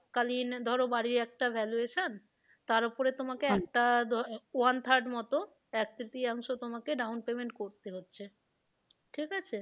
এককালীন ধরো বাড়ির একটা valuation তার ওপরে তোমাকে একটা one third মতো এক তৃতীয়াংশ তোমাকে down payment করতে হচ্ছে ঠিক আছে?